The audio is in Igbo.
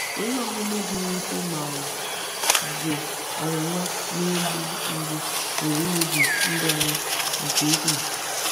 Ihe omume dị mwute ma ọ bụ ọnwụnwa na-egbu mgbu pụrụ imebi ndụ anyị nke ukwuu.